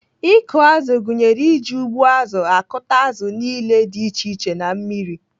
Ịkụ azụ gụnyere iji ụgbụazụ akụta azụ niile dị iche iche na mmiri.